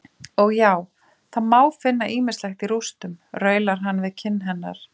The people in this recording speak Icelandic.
Og já, það má finna ýmislegt í rústum, raular hann við kinn hennar.